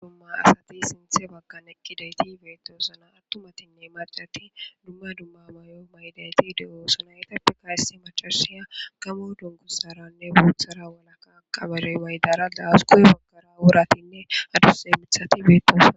Issi qomo asati sinthe bagan eqidayti betosona attumatine macati duma duma mayo mayidayti de'osona ettappeka issi macasiya gamo dunguzara guthara walaka mayo mayidara dawusi guye bagara woratine adusa mithati betosona